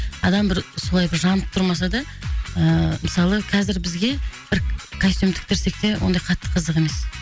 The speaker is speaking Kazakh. адам бір солай бір жанып тұрмаса да ыыы мысалы қазір бізге бір костюм тіктірсек те ондай қатты қызық емес